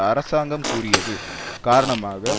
அரசாங்கம் கூறியது காரணமாக